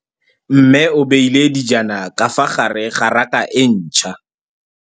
Mmê o beile dijana ka fa gare ga raka e ntšha.